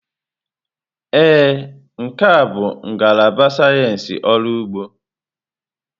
Ee, nke a bụ ngalaba sayensị ọrụ ugbo.